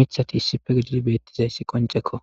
miththati issippe giididi bettishe dizays qonccekko.